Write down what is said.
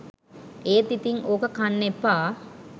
එත් ඉතින් ඕක කන්න එපා